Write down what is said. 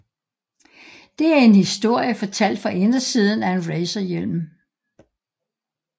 Det er en historie fortalt fra indersiden af en racerhjelm